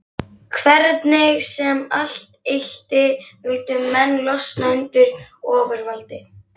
Hvernig sem allt ylti vildu menn losna undan ofurvaldi